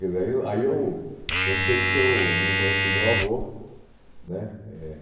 Quer dizer, aí eu aí eu eu não sei porque eu eu não conheci meu avô, né? Eh